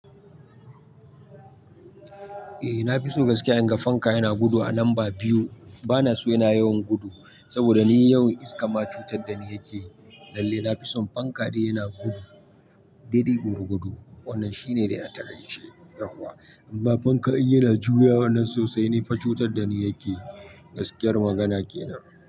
Eh na fi so gaskiya in ga fanka yana gudu a lamba biyu. Bana so yana yawan gudu saboda ni yawan iska ma cutar da ni yake. Lalle na fi son fanka ɗaya yana gudu. Daidai gurgudu wannan shine da ya takaici yanzu wa. Amma fanka in yana juya wannan sosai ne fa cutar da ni yake. Gaskiyar magana kenan.